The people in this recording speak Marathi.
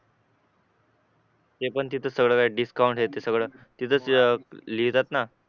ते पण सगळं तिथे डिस्काउंट हे ते सगळं तिथेच लिहितात ना